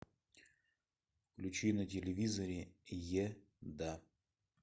включи на телевизоре еда